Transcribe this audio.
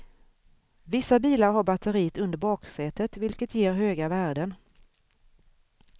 Vissa bilar har batteriet under baksätet, vilket ger höga värden.